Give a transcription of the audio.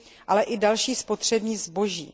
ale i další spotřební zboží.